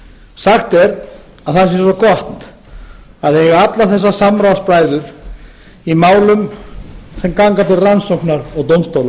sagt er að það sé svo gott að eiga alla þessa samráðsbræður í málum sem ganga til rannsóknar og dómstóla